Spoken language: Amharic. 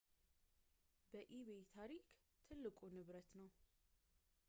በኢቤይ ታሪክ ትልቁ ንብረት ነው